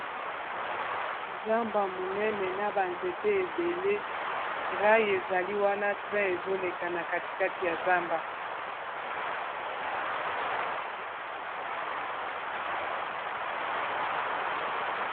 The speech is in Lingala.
Zamba monene na ba nzete ebele rayi ezali wana train ezoleka na katikati ya zamba.